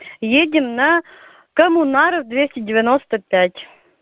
едем на коммунаров двести девяносто пять